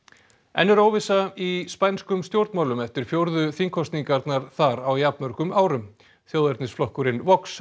enn er óvissa í spænskum stjórnmálum eftir fjórðu þingkosningarnar þar á jafnmörgum árum þjóðernisflokkurinn Vox